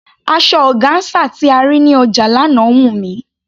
Asọ ọgáńsà tí a rí ní ọjà lánàá wù mí.